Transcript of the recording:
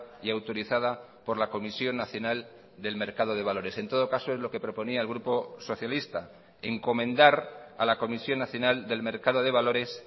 y autorizada por la comisión nacional del mercado de valores en todo caso es lo que proponía el grupo socialista encomendar a la comisión nacional del mercado de valores